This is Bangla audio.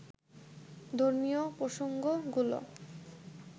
ধর্মীয় প্রসঙ্গগুলো